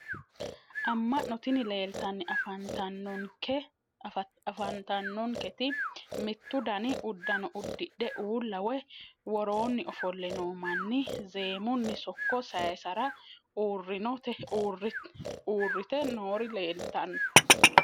Amma'no tini leeltanni afantannonketi mittu dani uddano uddidhe uulla woyi woroonni ofolle noo manni zeemunni sokko sayissara uurrite noori leeltanno